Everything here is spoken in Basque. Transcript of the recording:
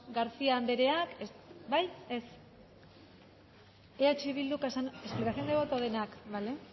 garcía andereak ez eh bildu casanova explicación de voto denak bale